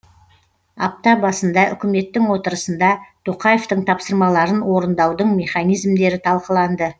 апта басында үкіметтің отырысында тоқаевтың тапсырмаларын орындаудың механизмдері талқыланды